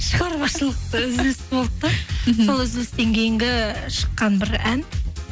шығармашылықта үзіліс болды да мхм сол үзілістен кейінгі шыққан бір ән